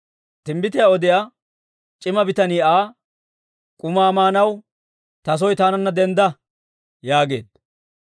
Timbbitiyaa odiyaa c'ima bitanii Aa, «K'umaa maanaw ta soo taananna dendda» yaageedda.